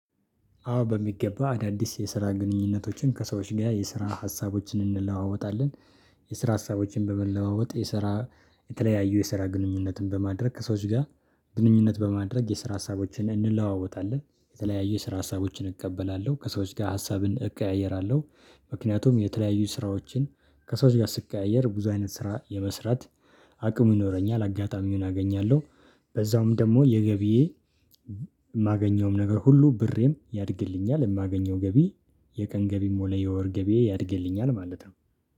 አዎ በሚገባ አዳዲስ የስራ ግንኙነቶችን ከሰዎች ጋር የስራ ሀሳቦችን እንለዋወጣለን። የስራ ሀሳቦችን በመለዋወጥ የሰራ የተለያዩ የሰራ ግንኙነትን በማድረግ ከሰዎች ጋር። ግንኙነት በማድረግ የስራ ሀሳቦችን እንለዋወጣለን የተለያዩ የስራ ሀሳቦችን እቀበላለሁ ከሰዎች ጋር ሀሳብን እቀያየራለሁ። ምክንያቱም የተለያዩ ስራዎችን ከሰዎች ጋር ስቀያየር ብዙ አይነት ስራ የመስራት አቅሙ ይኖረኛል አጋጣሚውን አገኛለሁ። በዛውም ደግሞ የገቢ የማገኘውም ነገር ሁሉ ብሬም ያድግልኛል። የማገኘው ገቢ የቀን ገቢ ሆነ የወር ገቢየ ያድግልኛል ማለት ነው